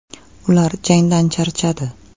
Ular jangdan charchadi.